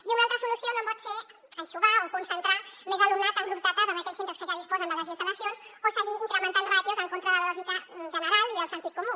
i una altra solució no pot ser anxovar o concentrar més alumnat en grups de tarda en aquells centres que ja disposen de les instal·lacions o seguir incrementant ràtios en contra de la lògica general i del sentit comú